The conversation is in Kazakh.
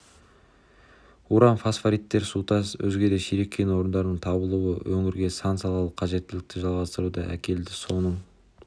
уран фосфориттер сутас өзге де сирек кен орындарының табылуы өңірге сан-салалы қажеттілікті жаңғыруды әкелді соның